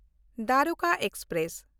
Dwarka express